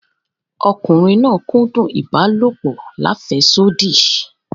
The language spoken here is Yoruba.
Ọkùnriǹ náà kúdùn ibàlọpò làféṣodí.